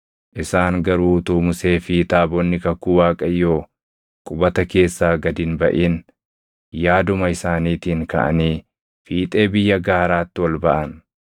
Isaan garuu utuu Musee fi taabonni kakuu Waaqayyoo qubata keessaa gad hin baʼin yaaduma isaaniitiin kaʼanii fiixee biyya gaaraatti ol baʼan.